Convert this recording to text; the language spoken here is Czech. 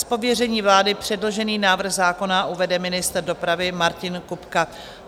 Z pověření vlády předložený návrh zákona uvede ministr dopravy Martin Kupka.